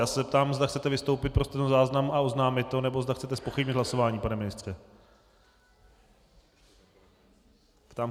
Já se zeptám, zda chcete vystoupit pro stenozáznam a oznámit to, nebo zda chcete zpochybnit hlasování, pane ministře...